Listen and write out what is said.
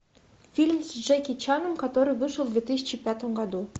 фильм с джеки чаном который вышел в две тысячи пятом году